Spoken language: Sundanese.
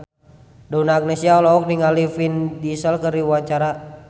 Donna Agnesia olohok ningali Vin Diesel keur diwawancara